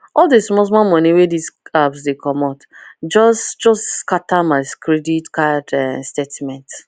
all the small small money wey this apps dey commot just just scatter my credit card statement